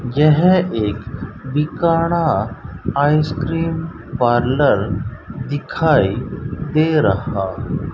यह एक बीकाड़ा आइसक्रीम पार्लर दिखाई दे रहा --